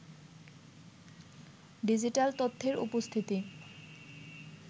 digital তথ্যের উপস্থিতি